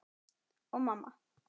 Og mamma.